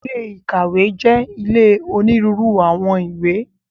Ilé ìkàwé jẹ́ ilé onírúurú àwọn ìwé.